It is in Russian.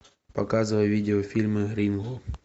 показывай видеофильмы ринго